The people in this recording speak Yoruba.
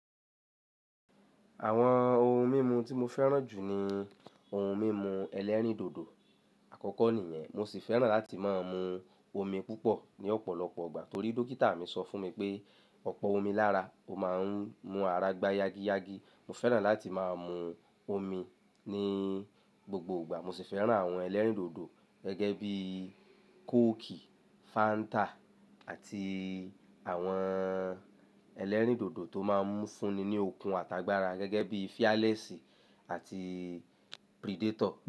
Àwọn ohun mímu tí mo fẹ́ràn jù ni ohun mímu ẹlẹ́rìndòdò àkọ́kọ́ nìyẹn, mo sì fẹ́ràn láti máa mu omi púpọ̀ ní ọ̀pọ̀lọpọ̀ ọgbà torí dókítà mi sọ fún mi pé ọ̀pọ̀ omi lára, o máa ń mú ara gbá yági yági. Mo fẹ́ràn láti máa mu omi ní gbogbo ìgbà, mo sì fẹ́ràn àwọn ẹlẹ́rìndòdò gẹ́gẹ́ bí Coke, Fanta àti àwọn ẹlẹ́rìndòdò tó máa ń fúnni ní okun àtàgbàra gẹ́gẹ́ bí Fearless àti Predator.